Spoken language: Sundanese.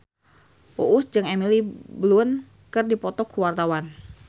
Uus jeung Emily Blunt keur dipoto ku wartawan